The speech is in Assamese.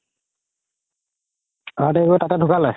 heart attack হয় তাতে ধুকালে